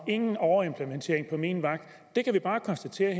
nogen overimplementering på min vagt vi kan bare konstatere